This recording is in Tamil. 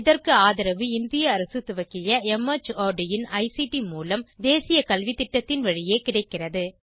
இதற்கு ஆதரவு இந்திய அரசு துவக்கிய மார்ட் இன் ஐசிடி மூலம் தேசிய கல்வித்திட்டத்தின் வழியே கிடைக்கிறது